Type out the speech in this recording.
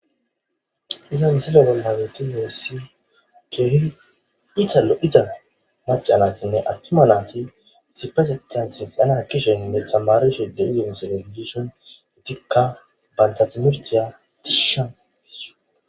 iza misilo bollageti heessi keehi ita lo7iza maca natinne attuma naati issipetethan seqana kisheninne tamarishe de idimso refodishon itikka bantatmirtiya tishsha